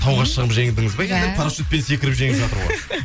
тауға шығып жеңдіңіз ба парашутпен секіріп жеңіп жатыр ғой